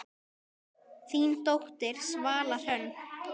Þín dóttir, Svala Hrönn.